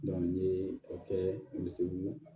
n ye o kɛ misiw